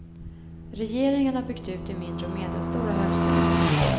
Regeringen har byggt ut de mindre och medelstora högskolorna.